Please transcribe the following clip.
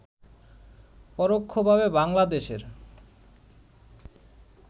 পরোক্ষভাবে বাংলাদেশের